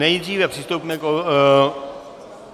Nejdříve přistoupíme...